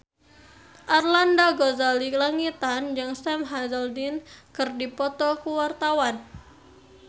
Arlanda Ghazali Langitan jeung Sam Hazeldine keur dipoto ku wartawan